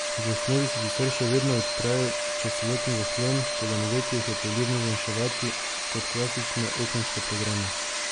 V osnovi se sicer še vedno odprejo čez celoten zaslon, toda mogoče jih je poljubno zmanjševati, kot klasične okenske programe.